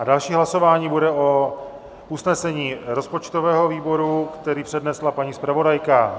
A další hlasování bude o usnesení rozpočtového výboru, které přednesla paní zpravodajka.